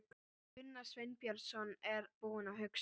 Gunnar Sveinbjörnsson er búinn að hugsa.